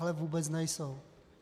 Ale vůbec nejsou.